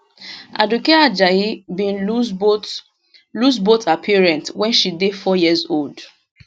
aduke ajayi bin lose both lose both her parents wen she dey four years old